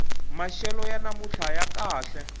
maxelo ya namuntlha ya kahle